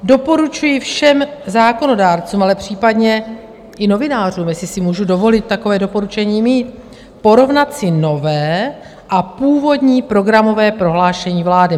Doporučuji všem zákonodárcům, ale případně i novinářům, jestli si můžu dovolit takové doporučení mít, porovnat si nové a původní programové prohlášení vlády.